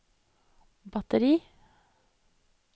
batteri